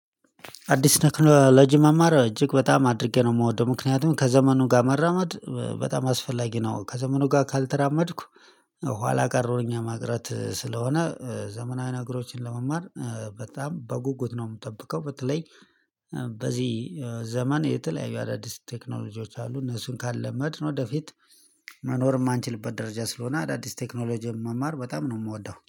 አዲስ ቴክኖሎሎጂ መማር እጅግ በጣም አድርጌ ነው የምወደው ምክንያቱም ከዘመኑ ጋር መራመድ በጣም አስፈላጊ ነው። ከዘመኑ ጋር ካልተራመድኩ ኋላ ቀረሁኝ። ማቅረት ስለሆነ ዘመናዊ ነገሮችን ለመማር በጣም በጉጉት ነው የምጠብቀው። በተለይ በዚህ ዘመን የተለያዩ አዳዲስ ቴክኖሎጂዎች አሉ። እነሱን ካልለመድን ወደፊት መኖር የማንችልበት ደረጃ ስለሆነ አዳዲስ ቴክኖሎጂ መማር በጣም ነው የምወደው